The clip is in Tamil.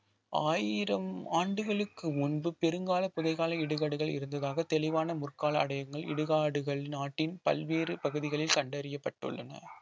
ஆயிரம் ஆண்டுகளுக்கு முன்பு பெருங்கால புதைக்கால இடுகாடுகள் இருந்ததாக தெளிவான முற்கால அடையங்கள் இடுகாடுகள் நாட்டின் பல்வேறு பகுதிகளில் கண்டறியப்பட்டுள்ளன